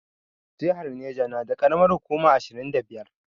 Jihar Neja na da karamar hukuma ashirin da biyar